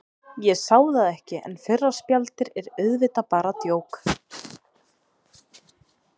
Ég sá það ekki, en fyrra spjaldið er auðvitað bara djók.